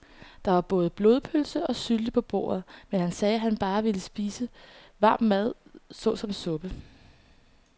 Der var både blodpølse og sylte på bordet, men han sagde, at han bare ville spise varm mad såsom suppe.